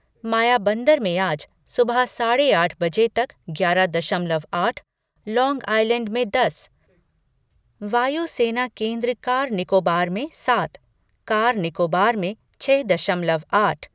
मायाबंदर में आज सुबह साढ़े आठ बजे तक ग्यारह दशमलव आठ, लांग आइलैंड में दस, वायु सेना केन्द्र कार निकोबार में सात, कार निकोबार में छ दशमलव आठ